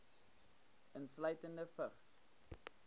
insluitende vigs